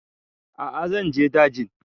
A'a zan je daji